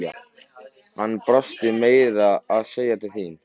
Hann brosti meira að segja til þín.